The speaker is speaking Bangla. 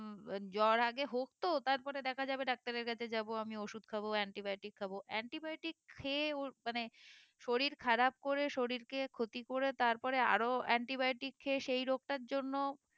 উম জ্বর আগে হোক তো তারপরে দেখা যাবে ডাক্তারের কাছে যাবো আমি ওষুধ খাবো antibiotic খাবো antibiotic খেয়ে ওর মানে শরীর খারাপ করে শরীর কে ক্ষতি করে তারপরে আরো antibiotic খেয়ে সেই রোগটার জন্য